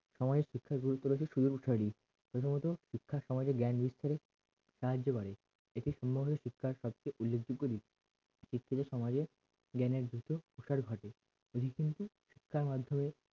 সময়ের শিক্ষার গুরুত্ব বেশি সুযোগসারি প্রথমত শিক্ষা সমাজের জ্ঞান বিস্তারে সাহায্য করে এটি সম্ভবনা শিক্ষার সবচেয়ে উল্লেখ যোগ্য রীতি শিক্ষিত সমাজের জ্ঞানের ভীত প্রসার ঘটে রীতি হচ্ছে শিক্ষার মাধ্যমে